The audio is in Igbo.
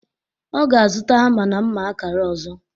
Ọ ga-azụta hama na mma akara ọzọ.